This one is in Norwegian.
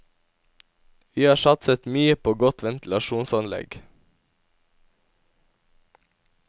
Vi har satset mye på godt ventilasjonsanlegg.